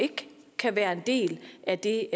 ikke kan være en del af det